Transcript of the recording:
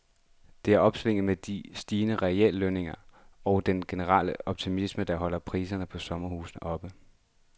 Det er opsvinget med de stigende reallønninger og den generelle optimisme, der holder priserne på sommerhuse oppe.